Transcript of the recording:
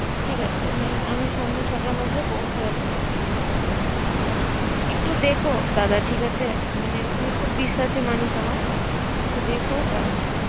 ঠিক আছে আমি সন্ধ্যা ছয়টার পৌছে যাচ্ছি আর একটু দেখ দাদা ঠিক আছে। মানে তুমি খুব বিশ্বাসি মানুষ আমার। একটু দেখ কারন